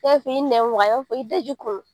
f'i nɛn waga i b'a f'i daji kunu.